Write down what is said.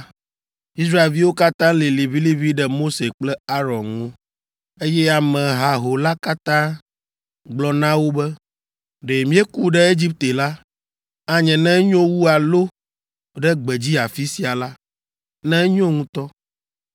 Israelviwo katã lĩ liʋĩliʋĩ ɖe Mose kple Aron ŋu, eye ame haho la katã gblɔ na wo be, “Ɖe míeku ɖe Egipte la, anye ne enyo wu alo ɖe gbedzi afi sia la, ne enyo ŋutɔ!